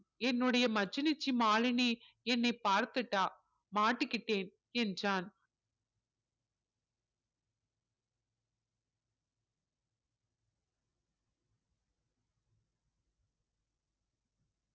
என்னுடைய மச்சினிச்சி மாலினி என்னை பார்த்துட்டா மாட்டிக்கிட்டேன் என்றான்